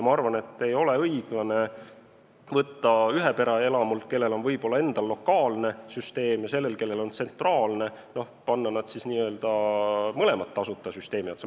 Ma arvan, et ei ole õiglane panna ühepereelamut, kellel on võib-olla lokaalne süsteem, ja seda, kellel on tsentraalne, mõlemat tasuta süsteemi otsa.